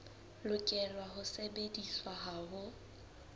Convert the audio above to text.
lokela ho sebediswa ha ho